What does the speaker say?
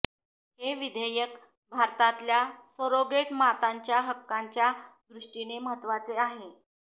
हे विधेयक भारतातल्या सरोगेट मातांच्या हक्कांच्या दृष्टीने महत्त्वाचे आहे